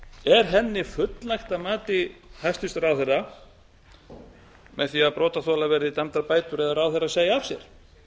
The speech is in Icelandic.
er henni fullnægt að mati hæstvirtur ráðherra með því að brotaþola verði dæmdar bætur eða ráðherrann segi af sér